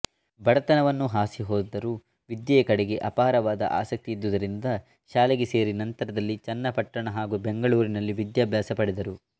ಬಡತನವನ್ನು ಹಾಸಿಹೊದ್ದರೂ ವಿದ್ಯೆಯ ಕಡೆ ಅಪಾರವಾದ ಆಸಕ್ತಿ ಇದ್ದುದರಿಂದ ಶಾಲೆಗೆ ಸೇರಿ ನಂತರದಲ್ಲಿ ಚನ್ನಪಟ್ಟಣ ಹಾಗೂ ಬೆಂಗಳೂರಿನಲ್ಲಿ ವಿದ್ಯಾಭ್ಯಾಸ ಪಡೆದರು